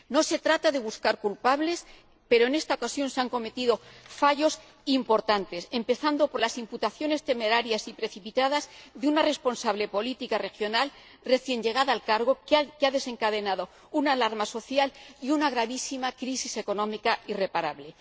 No se trata de buscar culpables, pero en esta ocasión se han cometido fallos importantes, empezando por las imputaciones temerarias y precipitadas de una responsable política regional, recién llegada al cargo, que ha desencadenado una alarma social y una gravísima crisis económica irreparable.